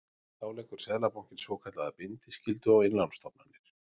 Þá leggur Seðlabankinn svokallaða bindiskyldu á innlánsstofnanir.